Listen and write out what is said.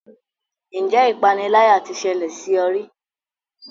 Ǹjẹ́ ipániláyà tí ṣẹlẹ̀ sí ọ rí?